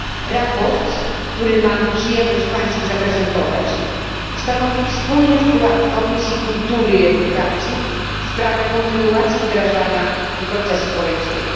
Sprawozdanie, które mam przyjemność Państwu zaprezentować, stanowi wspólny wkład Komisji Kultury i Edukacji w sprawę kontynuacji wdrażania procesu bolońskiego.